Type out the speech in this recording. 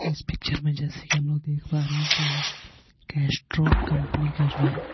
इस पिक्चर में जैसे कि हम लोग देख पा रहे हैं कि कैस्ट्रोल कंपनी का जो है.